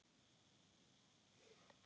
Og stundin stóra rennur upp.